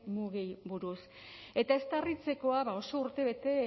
mugei buruz eta ez da harritzekoa oso urtebete